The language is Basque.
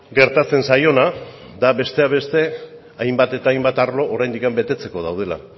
gertatzen zaiona da besteak beste hainbat eta hainbat arlo oraindik betetzeko daudela